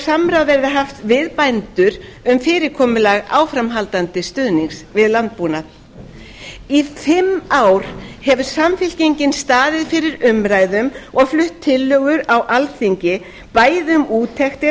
samráð verði haft við bændur um fyrirkomulag áframhaldandi stuðnings við landbúnað í fimm ár hefur samfylkingin staðið fyrir umræðum og flutt tillögur á alþingi bæði um